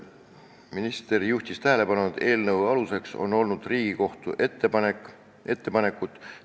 Minister juhtis tähelepanu, et eelnõu aluseks on olnud Riigikohtu ettepanekud.